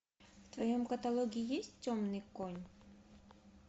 в твоем каталоге есть темный конь